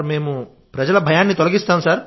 మేం ప్రజల భయాన్ని తొలగిస్తాం సార్